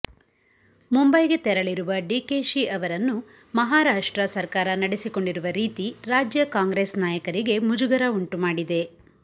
ಮುಂಬೈಗೆ ತೆರಳಿರುವ ಡಿಕೆಶಿ ಅವರನ್ನು ಮಹಾರಾಷ್ಟ್ರ ಸರ್ಕಾರ ನಡೆಸಿಕೊಂಡಿರುವ ರೀತಿ ರಾಜ್ಯ ಕಾಂಗ್ರೆಸ್ ನಾಯಕರಿಗೆ ಮುಜುಗರ ಉಂಟು ಮಾಡಿದೆ